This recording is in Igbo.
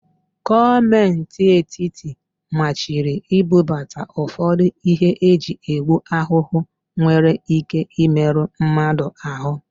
Gọọmenti etiti machiri ibubata ụfọdụ íhé eji egbu ahụhụ nwere íké ịmerụ mmadụ ahụ.